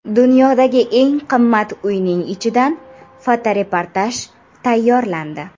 Dunyodagi eng qimmat uyning ichidan fotoreportaj tayyorlandi.